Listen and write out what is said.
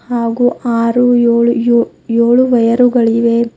ಹಾಗೂ ಆರು ಏಳು ಯೋ ಏಳು ವೈಯರುಗಳಿವೆ.